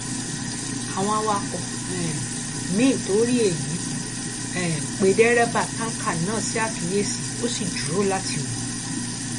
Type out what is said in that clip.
àwọn awakọ um miín tó rí èyí um pé dẹrẹbà táǹkà náà sí àkíyèsí ó sì dúró láti wò ó